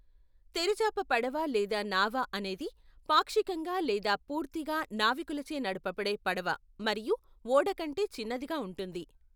తెరచాప పడవ లేదా నావ అనేది పాక్షికంగా లేదా పూర్తిగా నావికులచే నడపబడే పడవ మరియు ఓడ కంటే చిన్నదిగా ఉంటుంది.